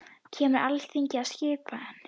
Kemur Alþingi að skipan?